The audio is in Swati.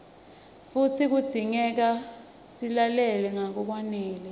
futsi kudzingeka silale ngalokwanele